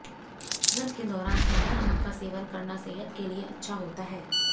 व्रत के दौरान सेंधा नमक का सेवन करना सेहत के लिए अच्छा होता है